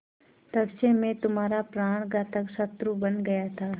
तब से मैं तुम्हारा प्राणघातक शत्रु बन गया था